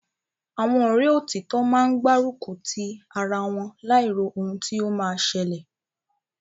Àwọn Ọ̀rẹ́ òtítọ́ máa ń gbá rùkùtí ara wọn, láì ro ohun tí ó ma ṣẹlẹ̀